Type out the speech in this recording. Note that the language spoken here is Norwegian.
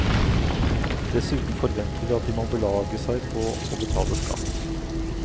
Dessuten forventer vi at de må belage seg på å betale skatt.